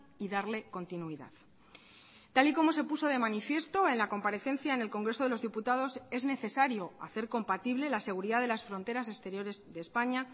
y darle continuidad tal y como se puso de manifiesto en la comparecencia en el congreso de los diputados es necesario hacer compatible la seguridad de las fronteras exteriores de españa